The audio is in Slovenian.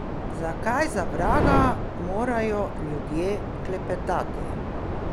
Zakaj, za vraga, morajo ljudje klepetati?